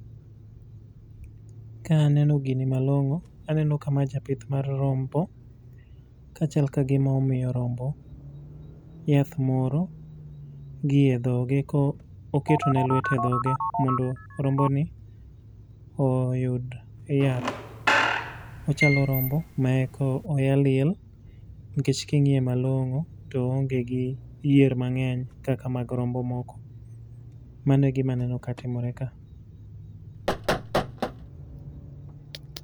Ka aneno gini malongó, aneno ka ma japith mar rombo. Kachal ka gima omiyo rombo yath moro gi e dhoge, ka oketone lwete e dhoge, mondo rombo ni oyud yath. Ochalo rombo ma eka oya liel. Nikech kingíye malongó, to oonge gi yier mangény kaka mag rombo moko. Mano e gima aneno ka timore ka.